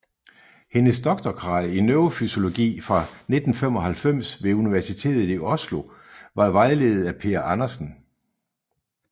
Hendes doktorgrad i neurofysiologi fra 1995 ved Universitetet i Oslo var vejledet af Per Andersen